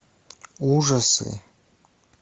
ужасы